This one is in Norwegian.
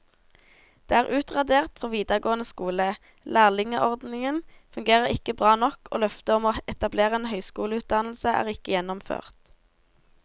Det er utradert fra videregående skole, lærlingeordningen fungerer ikke bra nok og løftet om å etablere en høyskoleutdannelse er ikke gjennomført.